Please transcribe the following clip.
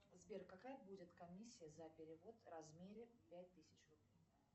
сбер какая будет комиссия за перевод в размере пять тысяч рублей